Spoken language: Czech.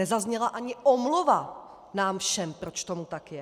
Nezazněla ani omluva nám všem, proč tomu tak je.